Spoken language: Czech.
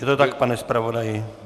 Je to tak, pane zpravodaji?